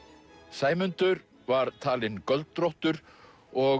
Sæmundur var talinn göldróttur og